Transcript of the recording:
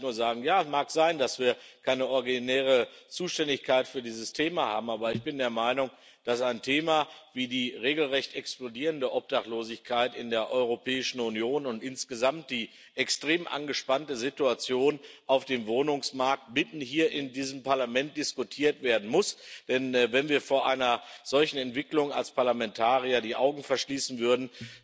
Und da kann ich nur sagen Ja, mag sein, dass wir keine originäre Zuständigkeit für dieses Thema haben, aber ich bin der Meinung, dass ein Thema wie die regelrecht explodierende Obdachlosigkeit in der Europäischen Union und insgesamt die extrem angespannte Situation auf dem Wohnungsmarkt hier inmitten dieses Parlaments diskutiert werden muss, denn wenn wir vor einer solchen Entwicklung als Parlamentarier die Augen verschließen würden,